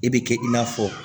E bɛ kɛ i n'a fɔ